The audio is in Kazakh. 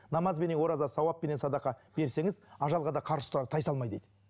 намазбенен ораза сауаппеннен садақа берсеңіз ажалға да қарсы тұрар тай салмай дейді